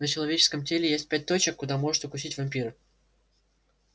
на человеческом теле есть пять точек куда может укусить вампир